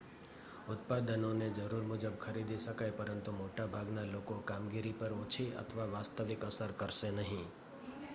ઉત્પાદનો ને જરૂર મુજબ ખરીદી શકાય, પરંતુ મોટા ભાગના લોકોકામગીરી પર ઓછી અથવા કોઈ વાસ્તવિક અસર કરશે નહીં